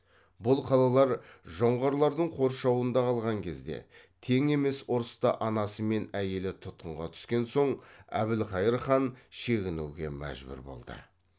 бұл қалалар жоңғарлардың қоршауында қалған кезде тең емес ұрыста анасы мен әйелі тұтқынға түскен соң әбілқайыр хан шегінуге мәжбүр болды